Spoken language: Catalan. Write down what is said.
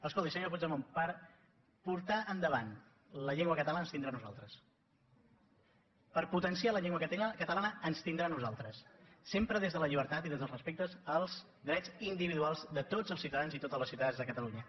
escolti senyor puigdemont per portar endavant la llengua catalana ens tindrà a nosaltres per potenciar la llengua catalana ens tindrà a nosaltres sempre des de la llibertat i des del respecte als drets individuals de tots els ciutadans i totes les ciutadanes de catalunya